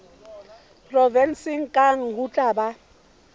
provenseng kang ho tla ba